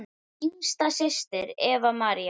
Þín yngsta systir, Eva María.